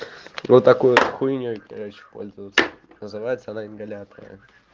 вот такой хуйней пользоваться называется она ингалятор